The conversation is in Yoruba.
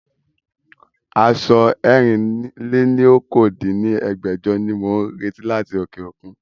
Aṣọ ẹ̀rin-lé-ní-okòó dín ní ẹgbẹ́jọ ni mo ń retí láti òkè òkun